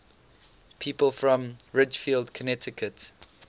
people from ridgefield connecticut